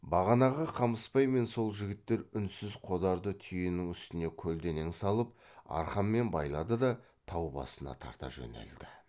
бағанағы қамысбай мен сол жігіттер үнсіз қодарды түйенің үстіне көлденең салып арқанмен байлады да тау басына тарта жөнелді